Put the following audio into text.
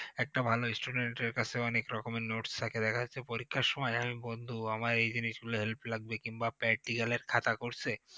একটা ভালো student এর কাছে অনেক রকমের notes থাকে দেখা যাচ্ছে পরীক্ষার সময় এক বন্ধু আমার এই জিনিসগু help লাগবে কিংবা practical এর খাতা করছে